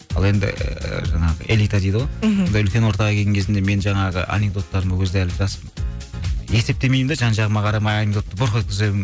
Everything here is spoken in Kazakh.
ал енді жаңағы элита дейді ғой мхм сондай үлкен ортаға келген кезімде мен жаңағы анекдоттарыма ол кезде әлі жаспын есептемеймін де жан жағыма қарамаймын бұрқ еткіземін